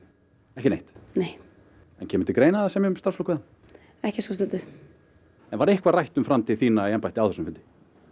ekki neitt nei en kemur til greina að semja um starfslok við hann ekki að svo stöddu var eitthvað rætt um framtíð þína í embætti á þessum fundi